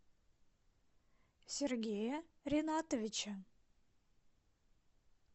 сергея ринатовича